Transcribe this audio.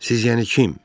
Siz, yəni kim?